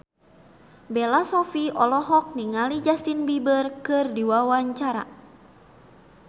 Bella Shofie olohok ningali Justin Beiber keur diwawancara